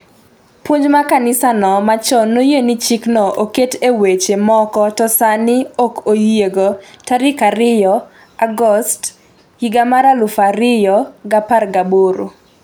puonj ma kanisa no machon noyie ni chikno oket e weche moko to sani ‘ok oyiego’ 2 Agost 2018